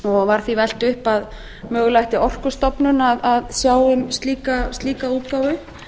var því velt upp að mögulega ætti orkustofnun að sjá um slíka útgáfu